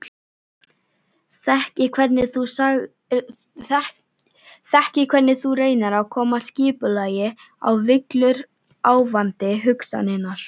Þekki hvernig þú reynir að koma skipulagi á villuráfandi hugsanirnar.